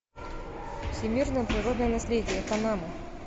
всемирное природное наследие панама